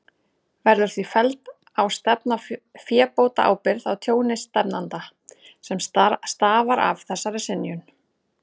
Verður því felld á stefnda fébótaábyrgð á tjóni stefnanda, sem stafar af þessari synjun.